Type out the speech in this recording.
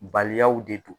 Baliyaw de don